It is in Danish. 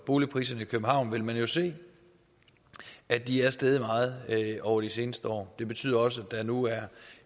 boligpriserne i københavn vil man jo se at de er steget meget over de seneste år det betyder også at der nu